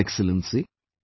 Thank you Excellency